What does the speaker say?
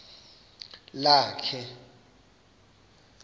lakhe